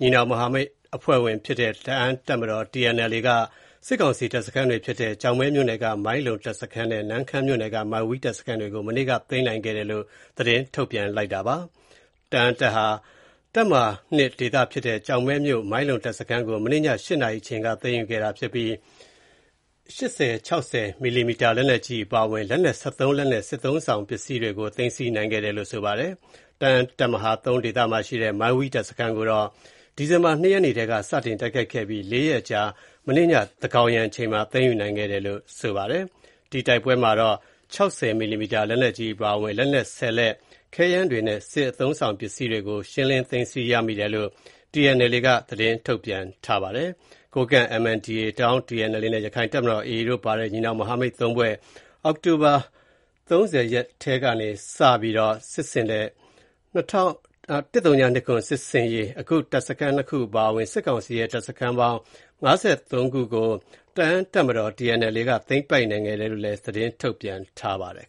ညီနောင်မဟာမိတ်အဖွဲ့ဝင်ဖြစ်တဲ့ တအာင်းတပ်မတော် (TNLA) က စစ်ကောင်စီတပ်စခန်းတွေဖြစ်တဲ့ ကျောက်မဲမြို့နယ်က မိုင်းလုံတပ်စခန်းနဲ့ နမ့်ခမ်းမြို့နယ်က မိုင်းဝီးတပ်စခန်းတွေကို မနေ့က သိမ်းပိုက်နိုင်ခဲ့တယ်လို့ သတင်းထုတ်ပြန်ထားပါတယ်။ တအာင်းတပ်မဟာ (၂) ဒေသဖြစ်တဲ့ ကျောက်မဲမြို့ မိုင်းလုံတပ်စခန်းကို မနေ့ည ၈ နာရီအချိန်ခန့်က သိမ်းယူနိုင်ခဲ့တာဖြစ်ပြီး၊ 80/60mm လက်နက်ကြီးအပါအဝင်၊ လက်နက် (၁၃ )လက်နဲ့ စစ်သုံးဆောင်ပစ္စည်းတွေကို သိမ်းဆည်းနိုင်ခဲ့ပါတယ်။ တအာင်းတပ်မဟာ (၃) ဒေသမှာရှိတဲ့ မိုင်းဝီးတပ်စခန်းကိုတော့ ဒီဇင်ဘာ ၂ ရက်နေ့ထဲက စတင်တိုက်ခိုက်ခဲ့ပြီး (၄) ရက် အကြာ မနေ့ည သန်းခေါင်ယံအချိန်မှာ သိမ်းယူနိုင်ခဲ့တယ်လို့ ဆိုပါတယ်။ ဒီတိုက်ပွဲမှာတော့ 60mm လက်နက်ကြီးအပါအဝင် လက်နက် (၁၀) လက်၊ ခဲယမ်းတွေနဲ့ စစ်သုံးဆောင်ပစ္စည်းတွေကို ရှင်းလင်းသိမ်းဆည်းရမိတယ်လို့ TNLA က သတင်းထုတ်ပြန်ထားပါတယ်။ ကိုးကန့် MNDAA ၊ တအာင်းTNLA နဲ့ ရခိုင့်တပ်မတော် AA တို့ ပါဝင်တဲ့ ညီနောင်မဟာမိတ် ၃ဖွဲ့ အောက်တိုဘာလ ၁၀ ရက်နေ့ထဲက စတင်ခဲ့တဲ့ ၁၀၂၇ စစ်ဆင်ရေးမှာ အခုတပ်စခန်း ၂ ခု အပါအဝင် စစ်ကောင်စီရဲ့ တပ်စခန်းပေါင်း (၅၃) ခုကို တအာင်းတပ်မတော် (TNLA) က သိမ်းပိုက်နိုင်ခဲ့တယ်လို့လည်း သတင်းထုတ်ပြန်ထားပါတယ်